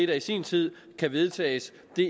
til sin tid skal vedtages